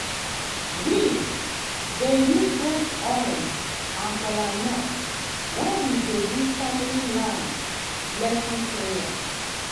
we dey use red oil and kola nut when we dey do family land blessing prayer.